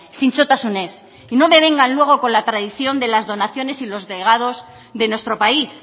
zintzotasunez y no me vengan luego con la tradición de las donaciones y los legados de nuestro país